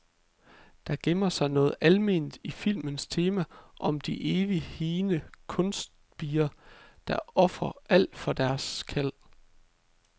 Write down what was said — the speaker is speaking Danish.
Der gemmer sig noget alment i filmens tema om de evigt higende kunstnerspirer, der ofrer alt for deres kald.